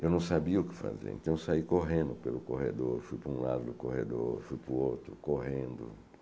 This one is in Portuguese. Eu não sabia o que fazer, então saí correndo pelo corredor, fui para um lado do corredor, fui para o outro, correndo.